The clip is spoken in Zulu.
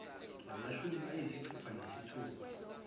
namashumi ayisithupha nesithupha